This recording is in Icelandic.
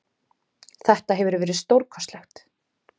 Þetta hefur verið stórkostlegt.